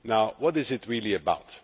What is it really about?